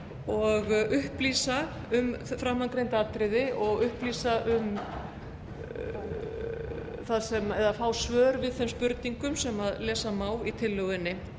og upplýsa um framangreind atriði og upplýsa eða fá svör við þeim spurningum sem lesa má í tillögunni